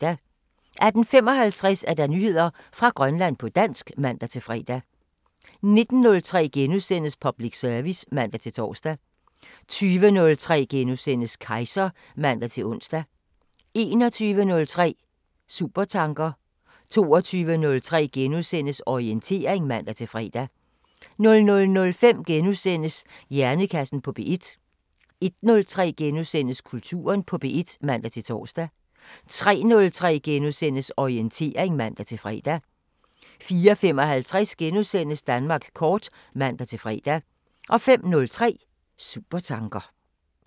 18:55: Nyheder fra Grønland på dansk (man-fre) 19:03: Public service *(man-tor) 20:03: Kejser *(man-ons) 21:03: Supertanker 22:03: Orientering *(man-fre) 00:05: Hjernekassen på P1 * 01:03: Kulturen på P1 *(man-tor) 03:03: Orientering *(man-fre) 04:55: Danmark kort *(man-fre) 05:03: Supertanker